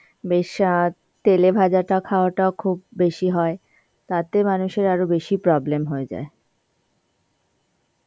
বেসাদ তেলেভাজাটা খাওয়াটা খুব বেশি হয় তাতে মানুষের আরও বেশি problem হয়ে যায়.